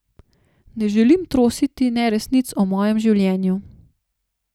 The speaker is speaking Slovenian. Ne želim trositi neresnic o mojem življenju.